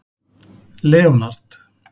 Leonard